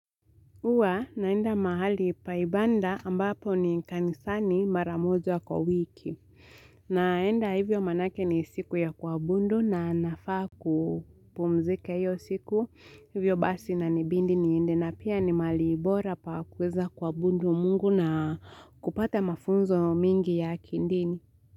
Huwa naenda mahali pa ibada ambapo ni kanisani mara moja kwa wiki. Naenda hivyo maanake ni siku ya kuabudu na nafaa kupumzika hiyo siku. Hivyo basi inanibidi niende na pia ni mahali bora pa kuweza kuabudu mungu na kupata mafunzo mingi ya kidini.